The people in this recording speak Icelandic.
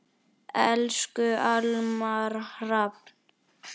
Elsku Almar Hrafn.